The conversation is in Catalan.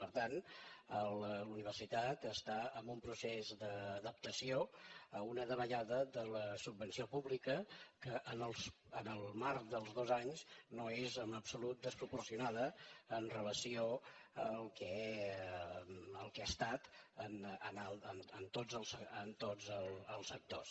per tant la universitat està en un procés d’adaptació a una davallada de la subvenció pública que en el marc dels dos anys no és en absolut desproporcionada amb relació al que ha estat en tots els sectors